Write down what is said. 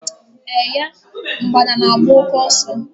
Eh ye! Mgbada na agba òké ọsọ